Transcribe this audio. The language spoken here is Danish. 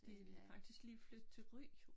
De lige faktisk lige flyttet til Ry